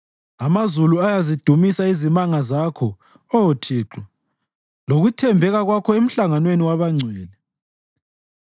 Amazulu ayazidumisa izimanga zakho, Oh Thixo, lokuthembeka kwakho emhlanganweni wabangcwele.